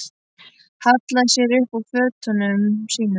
Hallaði sér upp að fötunum sínum.